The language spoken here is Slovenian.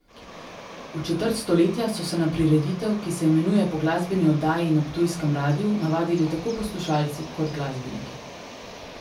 V četrt stoletja so se na prireditev, ki se imenuje po glasbeni oddaji na ptujskem radiu, navadili tako poslušalci kot glasbeniki.